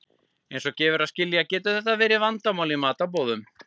Eins og gefur að skilja getur þetta verið vandamál í matarboðum.